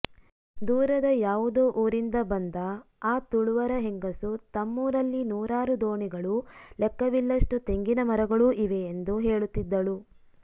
ದೂರದ ಯಾವುದೋ ಊರಿಂದ ಬಂದ ಆ ತುಳುವರ ಹೆಂಗಸು ತಮ್ಮೂರಲ್ಲಿ ನೂರಾರು ದೋಣಿಗಳು ಲೆಕ್ಕವಿಲ್ಲಷ್ಟು ತೆಂಗಿನ ಮರಗಳೂ ಇವೆಯೆಂದು ಹೇಳುತ್ತಿದ್ದಳು